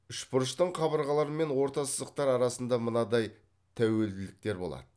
үшбұрыштың қабырғалары мен орта сызықтары арасында мынадай тәуелділіктер болады